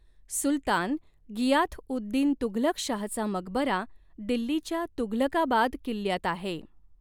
सुलतान गियाथ उद दीन तुघलक शाहचा मकबरा दिल्लीच्या तुघलकाबाद किल्ल्यात आहे.